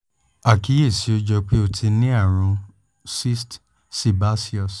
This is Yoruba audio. àkíyèsí ó jọ pé ó ti ní àrùn cyst sebaceous